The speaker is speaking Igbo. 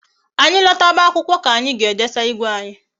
Anyi lotawa akwụkwọ ka anyị jee saa igwe anyi